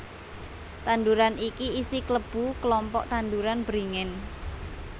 Tanduran iki isi klebu kelompok tanduran beringin